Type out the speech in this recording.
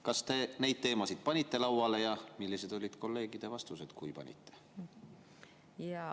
Kas te neid teemasid panite lauale ja millised olid kolleegide vastused, kui panite?